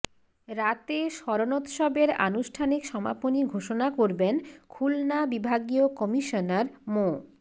রাতে স্মরণোৎসবের আনুষ্ঠানিক সমাপনী ঘোষণা করবেন খুলনা বিভাগীয় কমিশনার মো